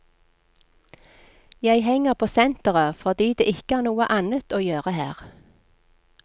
Jeg henger på senteret fordi det ikke er noe annet å gjøre her.